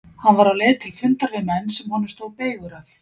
Hann var á leið til fundar við menn sem honum stóð beygur af.